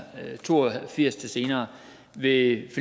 firs til senere ved